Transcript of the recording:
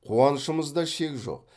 қуанышымызда шек жоқ